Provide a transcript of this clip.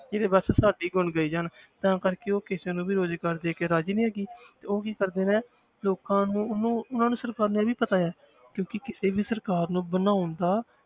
ਜਿਹੜੇ ਬਸ ਸਾਡੇ ਹੀ ਗੁਣ ਗਾਈ ਜਾਣ ਤਾਂ ਕਰਕੇ ਉਹ ਕਿਸੇ ਨੂੰ ਵੀ ਰੁਜ਼ਗਾਰ ਦੇ ਕੇ ਰਾਜ਼ੀ ਨੀ ਹੈਗੀ ਤੇ ਉਹ ਕੀ ਕਰਦੇ ਨੇ ਲੋਕਾਂ ਨੂੰ ਉਹਨੂੰ ਉਹਨਾਂ ਨੂੰ ਸਰਕਾਰ ਨੂੰ ਇਹ ਵੀ ਪਤਾ ਹੈ ਕਿਉਂਕਿ ਕਿਸੇ ਵੀ ਸਰਕਾਰ ਨੂੰ ਬਣਾਉਣ ਦਾ,